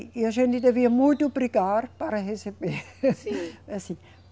E a gente devia muito brigar para receber. Sim.